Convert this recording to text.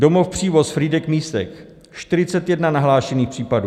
Domov Přívoz, Frýdek-Místek, 41 nahlášených případů;